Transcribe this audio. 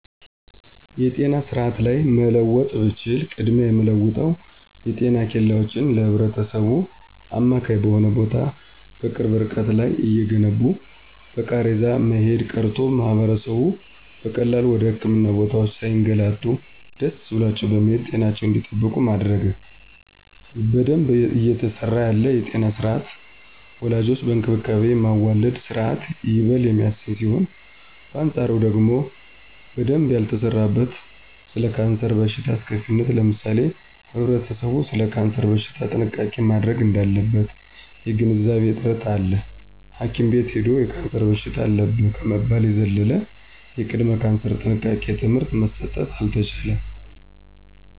የጤና ስርአት ላይ መለወጥ ብችል ቅድሚያ የምለወጠው የጤና ኬላወችን ለህብረተሰቡ አማካኝ በሆነ ቦታ በቅርብ እርቀት ላይ እየገነቡ በቃሬዛ መሄድ ቀርቶ ማህበረሰቡ በቀላሉ ወደ ህክምና ቦታወች ሳይገላቱ ደሰ ብሏቸው በመሄድ ጤናቸውን እንዲጠብቁ ማድረግ። በደንብ እየተሰራ ያለ የጤና ስርአት ወላዶችን በእንክብካቤ የማዋለድ ስርአት ይበል የሚያሰኝ ሲሆን በአንጻሩ ደግሞ በደንብ ያልተሰራበት ስለ ካንሰር በሽታ አስከፊነት ለምሳሌ ህብረተሰቡ ሰለ ካንሰር በሽታ ጥንቃቄ ማድረግ እዳለበት የግንዛቤ እጥረት አለ ሀኪም ቤት ሂዶ የካንሰር በሽታ አለብህ ከመባል የዘለለ የቅድመ ካንሰር ጥንቃቄ ትምህርት መሰጠት አልተቻለም።